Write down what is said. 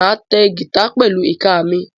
Máa ta gítà pẹ̀lú ìka mi.